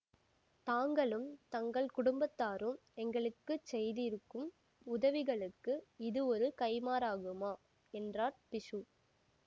தாங்களும் தங்கள் குடும்பத்தாரும் எங்களுக்குச் செய்திருக்கும் உதவிகளுக்கு இது ஒரு கைம்மாறாகுமா என்றார் பிக்ஷு